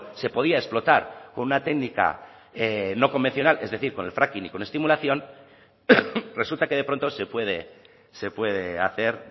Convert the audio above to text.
se podía explotar con una técnica no convencional es decir con el fracking y con estimulación resulta que de pronto se puede se puede hacer